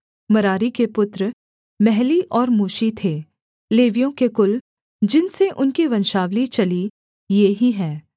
मरारी के पुत्र महली और मूशी थे लेवियों के कुल जिनसे उनकी वंशावली चली ये ही हैं